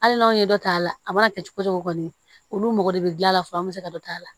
Hali n'anw ye dɔ t'a la a mana kɛ cogo cogo olu mɔgɔ de bi gilan a la fa an mi se ka dɔ k'a la